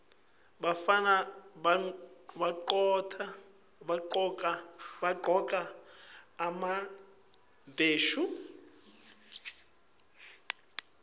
bafana bagcoka emabheshu